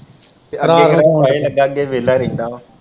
ਤੇ ਅੱਗੇ ਕਿਹੜਾ ਫਾਹੇ ਲੱਗਾ ਅੱਗੇ ਵੀ ਵਿਹਲਾ ਰਹਿੰਦਾ ਵਾਂ।